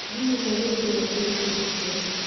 Ngui ĩmwe nĩ ndũrũgũkĩra icio ingĩ ciothe